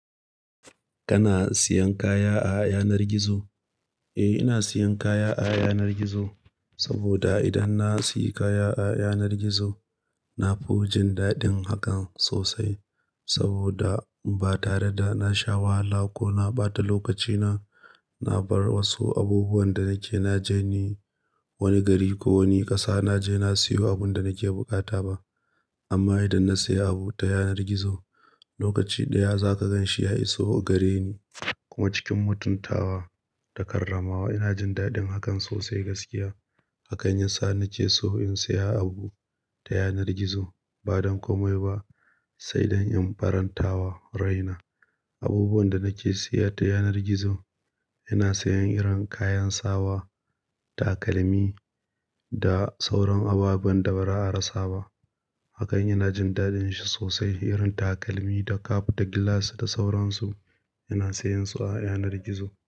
Kana siyan kaya a yanar gizo? Eh, ina siyan kaya a yanar gizo. Saboda idan na sayi kaya a yanar gizo, na fi jin daɗin hakan sosai. Saboda ba tare da na sha wahala ko na ɓata lokacina, na bar wasu abubuwan da nake na je ni wani gari ko wani ƙasa, na je na sayo abun da nake buƙata ba. Amma idan na sayi abu ta yanar gizo, lokaci ɗaya za ka gan shi ya iso gare ni. Kuma cikin mutuntawa da karramawa. Ina jin daɗin hakan sosai gaskiya. Hak an yin sa na ke so in sayi abu ta yanar gizo. Ba don komai ba, sai don in farantawa rai na. Abubuwan da nake siya ta yanar gizo, ina siyan irin kayan sawa, takalmi da sauran ababen da ba'a rasa ba. Hak an ina jin daɗin shi sosai. Irin takalmi da cap da gilas da sauransu, ina siyan su a yanar gizo.